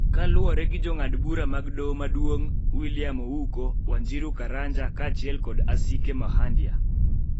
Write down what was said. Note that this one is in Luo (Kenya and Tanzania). Kaluwore gi Jong'ad bura mag Doho Maduong', William Ouko, Wanjiru Karanja kaachiel kod Asike Makhandia,